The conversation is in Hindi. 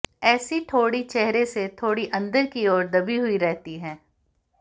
ऐसी ठोड़ी चेहरे से थोड़ी अंदर की ओर दबी हुई रहती है